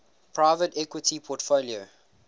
private equity portfolio